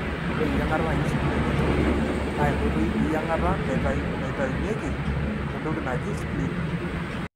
ore eyiangata naaji splenectomy na enkoitoi eyiangata naitainyuki entoki naaji spleen.